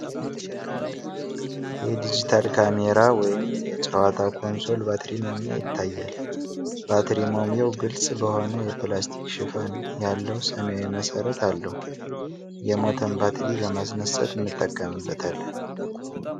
የዲጂታል ካሜራ ወይም የጨዋታ ኮንሶል ባትሪ መሙያ ያሳያል። ባትሪ መሙያው ግልጽ በሆነ የፕላስቲክ ሽፋን ያለው ሰማያዊ መሠረት አለው። የሞተን ባተር ለማስነሳት እንጠቀምበታለን ።